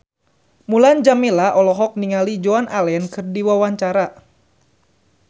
Mulan Jameela olohok ningali Joan Allen keur diwawancara